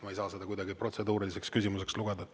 Ma ei saa seda kuidagi protseduuriliseks küsimuseks lugeda.